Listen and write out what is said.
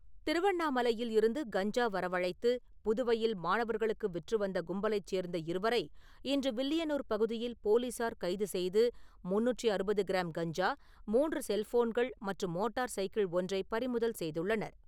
திருவண்ணாமலையில் இருந்து கஞ்சா வரவழைத்து புதுவையில் மாணவர்களுக்கு விற்று வந்த கும்பலைச் சேர்ந்த இருவரை இன்று வில்லியனூர் பகுதியில் போலீசார் கைது செய்து, முந்நூற்று அறுபது கிராம் கஞ்சா, மூன்று செல்ஃபோன்கள் மற்றும் மோட்டார் சைக்கிள் ஒன்றைப் பறிமுதல் செய்துள்ளனர்.